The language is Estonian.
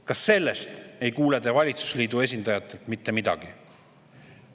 Ka sellest ei kuule te valitsusliidu esindajatelt mitte midagi.